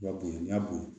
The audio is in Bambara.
I ka bon n'i y'a bon